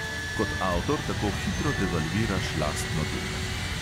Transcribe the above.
Kot avtor tako hitro devalviraš lastno delo.